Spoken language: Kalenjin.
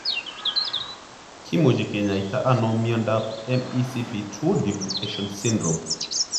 Kimuche kinyaita anao iondap MECP2 duplication syndrome?